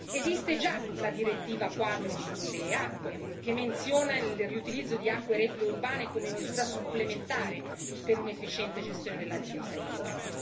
Esiste già la direttiva quadro sulle acque, che menziona il riutilizzo di acque reflue urbane come misura supplementare per un'efficiente gestione della risorsa idrica.